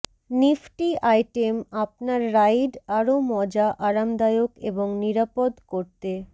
Nifty item আপনার ride আরও মজা আরামদায়ক এবং নিরাপদ করতে